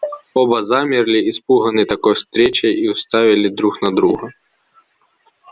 оба замерли испуганные такой встречей и уставили друг на друга